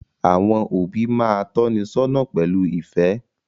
Àwọn òbí máa tónisọ́nà pẹ̀lú ìfẹ́